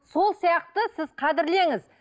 сол сияқты сіз қадірлеңіз